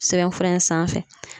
Sɛbɛnfura in sanfɛ